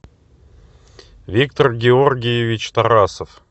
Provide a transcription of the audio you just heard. виктор георгиевич тарасов